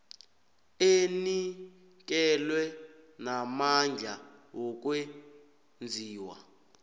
enikelwe namandla wokwenziwa